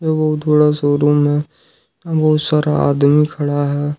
दो बहुत बड़ा शोरूम है यहां बहुत सारा आदमी खड़ा है।